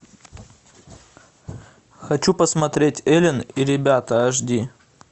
хочу посмотреть элен и ребята аш ди